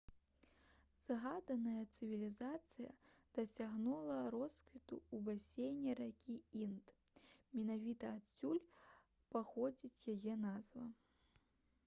згаданая цывілізацыя дасягнула росквіту ў басейне ракі інд менавіта адсюль паходзіць яе назва